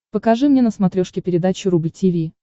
покажи мне на смотрешке передачу рубль ти ви